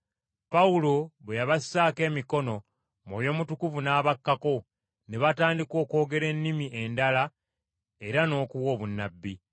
Pawulo bwe yabassaako emikono gye, Mwoyo Mutukuvu n’abakkako, ne batandika okwogera ennimi endala era n’okuwa obunnabbi.